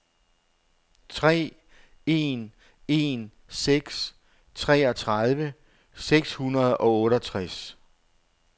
tre en en seks treogtredive seks hundrede og otteogtres